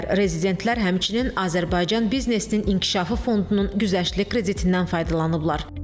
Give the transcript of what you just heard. Rezidentlər həmçinin Azərbaycan biznesinin inkişafı fondunun güzəştli kreditindən faydalanıblar.